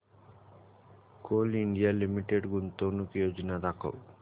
Coal India limited गुंतवणूक योजना दाखव